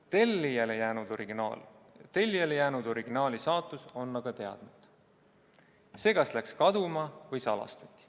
Tellijale jäänud originaali saatus on aga teadmata, see kas läks kaduma või salastati.